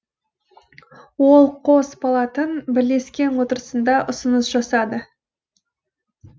ол қос палатың бірлескен отырысында ұсыныс жасады